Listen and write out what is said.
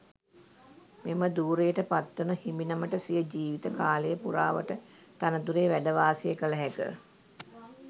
මෙම ධුරයට පත්වන හිමිනමට සිය ජීවිත කාලය පුරාවට තනතුරේ වැඩ වාසය කල හැක.